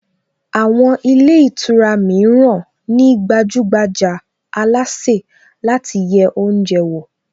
Àwọn ilé ìtura mìíràn ní gbajúgbajà alásè láti yẹ oúnjẹ wò